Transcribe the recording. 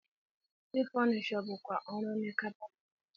Ị fọnishọ bụkwa ọrụ onye kapịnta.